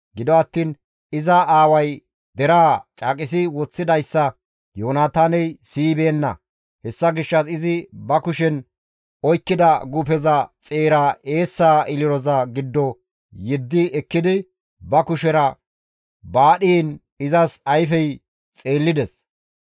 Gido attiin iza aaway deraa caaqisi woththidayssa Yoonataaney siyibeenna; hessa gishshas izi ba kushen oykkida guufeza xeera eessa ililoza giddo yeddi ekkidi ba kushera baadhiin izas ayfey xeellides.